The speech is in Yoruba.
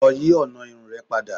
Lọ yi ọna irun rẹ pada.